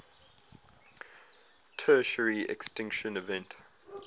tertiary extinction event